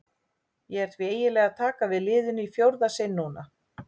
Ég er því eiginlega að taka við liðinu í fjórða sinn núna.